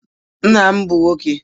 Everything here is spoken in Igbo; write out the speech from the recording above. Nna m bụ nwọke